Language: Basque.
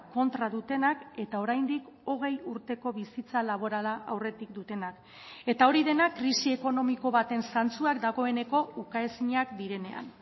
kontra dutenak eta oraindik hogei urteko bizitza laborala aurretik dutenak eta hori dena krisi ekonomiko baten zantzuak dagoeneko ukaezinak direnean